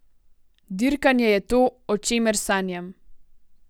Dirkanje je to, o čemer sanjam.